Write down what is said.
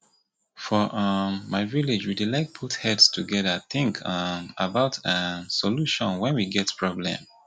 for um my village we dey like to put heads together think um about um solution wen we get problem